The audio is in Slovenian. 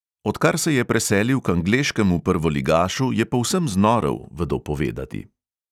Odkar se je preselil k angleškemu prvoligašu, je povsem znorel, vedo povedati.